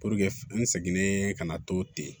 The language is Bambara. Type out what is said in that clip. Puruke n seginen ka na to ten